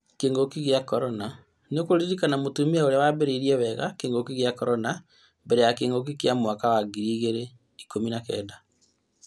Kĩng'uki gĩa korona, nĩurakũrana mũtumia ũrĩa wabaarire wega kĩng'uki gĩa korona mbere ya kĩng'uki kĩa mwaka ngiri igĩrĩ ikũmi na kenda